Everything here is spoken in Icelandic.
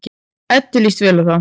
Eddu líst vel á þá.